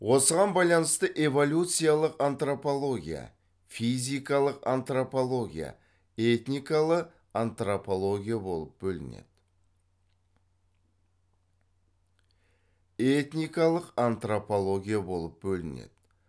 осыған байланысты эволюциялық антропология физикалық антропология этникалық антропология болып бөлінеді